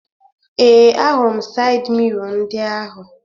Ee, ahụrụ m sayịd miro ndị ahụ